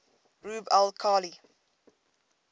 rub al khali